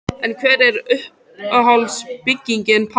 En hver er uppáhalds bygging Páls?